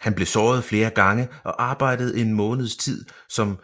Han blev såret flere gange og arbejdede en månedes tid som